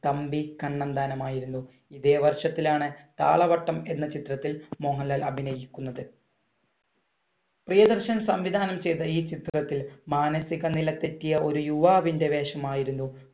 തമ്പി കണ്ണന്താനം ആയിരുന്നു. ഇതേ വർഷത്തിലാണ് താളവട്ടം എന്ന ചിത്രത്തിൽ മോഹൻലാൽ അഭിനയിക്കുന്നത്. പ്രിയദർശൻ സംവിധാനം ചെയ്ത ഈ ചിത്രത്തിൽ മാനസികനില തെറ്റിയ ഒരു യുവാവിന്‍റെ വേഷം ആയിരുന്നു